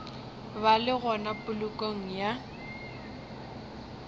ba le gona polokong ya